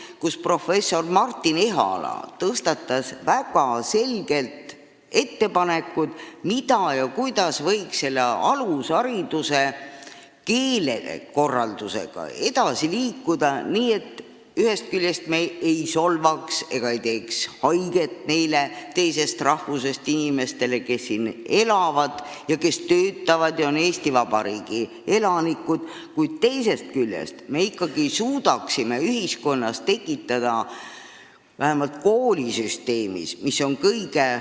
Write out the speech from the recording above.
Nimelt, professor Martin Ehala tõstatas väga selged ettepanekud, kuidas võiks alushariduse keelekorraldusega edasi liikuda, nii et me ühest küljest ei solvaks ega teeks haiget neile teisest rahvusest inimestele, kes siin elavad ja töötavad ning on Eesti Vabariigi elanikud, kuid teisest küljest suudaksime ikkagi ühiskonnas tekitada vähemalt sellise õppesüsteemi, mis põhineks eesti keelel.